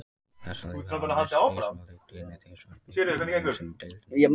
Þessi lið hafa mæst þrisvar á leiktíðinni, tvisvar í bikarnum og einu sinni í deildinni.